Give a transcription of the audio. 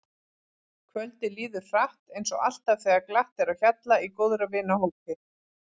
Kvöldið líður hratt eins og alltaf þegar glatt er á hjalla í góðra vina hópi.